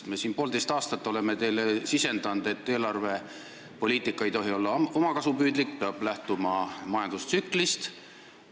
Me oleme siin poolteist aastat teile sisendanud, et eelarvepoliitika ei tohi olla omakasupüüdlik, see peab lähtuma majandustsüklist.